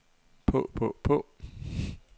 på på på